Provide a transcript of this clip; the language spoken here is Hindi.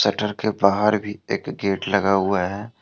डर के बाहर भी एक गेट लगा हुआ है।